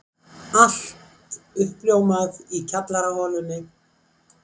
Allt uppljómað í kjallaraholunni.